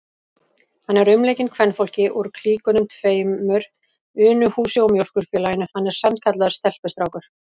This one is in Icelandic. Hann er umleikinn kvenfólki úr klíkunum tveimur, Unuhúsi og Mjólkurfélaginu, hann er sannkallaður stelpustrákur!